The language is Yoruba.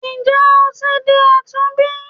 Nje o ti di àtúnbí?